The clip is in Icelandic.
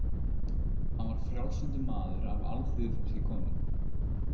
Hann var frjálslyndur maður af alþýðufólki kominn.